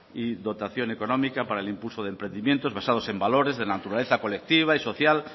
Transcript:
y dotación económica para el impulso de emprendimientos basados en valores de naturaleza colectiva y social